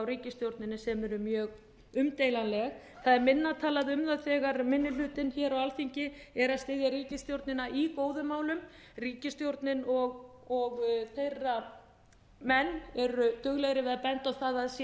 ríkisstjórninni sem eru mjög umdeilanleg það er minna talað um það þegar minni hlutinn hér á alþingi er að styðja ríkisstjórnina í góðum málum ríkisstjórnin og þeirra menn eru duglegri við að benda á það að sé